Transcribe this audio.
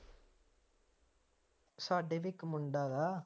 ਸਾਡੇ ਵੀ ਇੱਕ ਮੁੰਡਾ ਹੈਗਾ